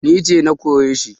Ni ce na kore shi